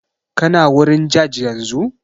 Kana wurin jaj yanzu?